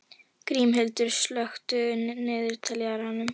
Grímhildur, slökktu á niðurteljaranum.